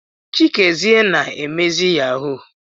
Chikezie na emezi yahoo.